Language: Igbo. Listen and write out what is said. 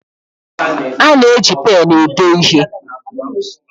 A na-eji pén ede ihe